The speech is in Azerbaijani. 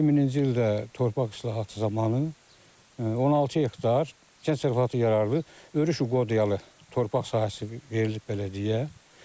2000-ci ildə torpaq islahatı zamanı 16 hektar kənd təsərrüfatı yararlı örüş qocalı torpaq sahəsi verilib bələdiyyəyə.